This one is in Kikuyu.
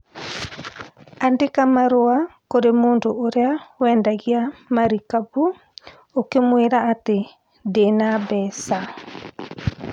Andĩka marũa kũrĩ mũndũ ũrĩa wendagia marikabu ũkĩmwĩra atĩ ndĩna mbeca